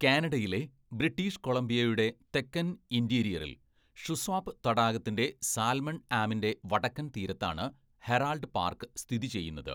കാനഡയിലെ, ബ്രിട്ടീഷ് കൊളംബിയയുടെ തെക്കൻ ഇൻറ്റീരിയറിൽ, ഷുസ്വാപ് തടാകത്തിൻ്റെ സാൽമൺ ആംമിൻ്റെ വടക്കൻ തീരത്താണ് ഹെറാൾഡ് പാർക്ക് സ്ഥിതി ചെയ്യുന്നത്.